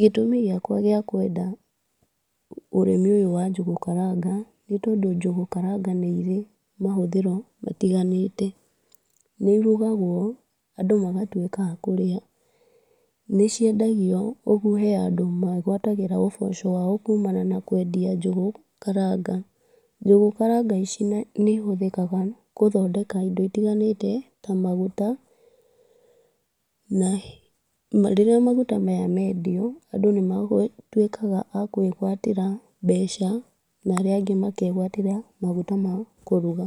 Gĩtũmi gĩakwa gĩa kwenda ũrĩmi ũyũ wa njũgũ karanga, nĩ tondũ njũgũ karanga nĩ irĩ mahũthĩro matiganĩte. Nĩ irugagwo, andũ magtuĩka akũrĩa. Nĩ ciendagio, ũguo hena andũ meguatagĩra ũboco wao kumana na kwendia njũgũ karanga. Njũgũ karanga icio nĩ ihũthũkaga gũthondeka indo itiganĩte ta maguta. Rĩrĩa maguta maya mendio andũ nĩ matuĩkaga akwĩgwatĩra mbeca narĩa angĩ makegwatĩra maguta makũruga.